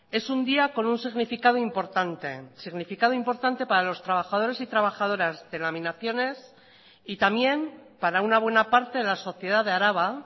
es un día con un significado importante significado importante para los trabajadores y trabajadoras de laminaciones y también para una buena parte de la sociedad de araba